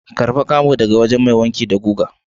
Karba camon dagawajen Mai wanki da guga.